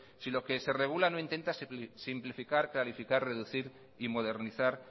si lo que se regula no intenta simplificar clarificar reducir y modernizar